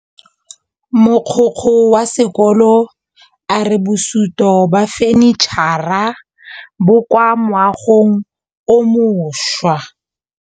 Mogokgo wa sekolo a re bosutô ba fanitšhara bo kwa moagong o mošwa.